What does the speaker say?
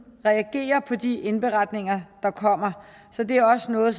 reagerer på de indberetninger der kommer så det er også noget